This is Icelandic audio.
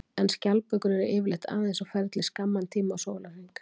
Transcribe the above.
En skjaldbökur eru yfirleitt aðeins á ferli skamman tíma á sólarhring.